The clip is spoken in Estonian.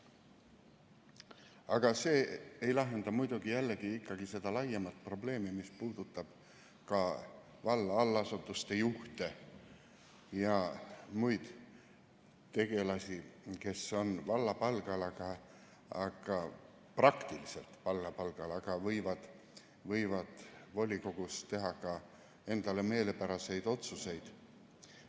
Aga see ei lahenda muidugi jällegi seda laiemat probleemi, mis puudutab ka valla allasutuste juhte ja muid tegelasi, kes on valla palgal, praktiliselt valla palgal, aga võivad volikogus teha ka endale meelepäraseid otsuseid.